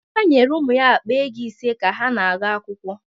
Emeka nyere ụmụ ya akpa ego ise ka ha na-aga akwụkwọ.